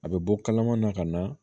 A bɛ bɔ kalama na ka na